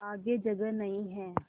आगे जगह नहीं हैं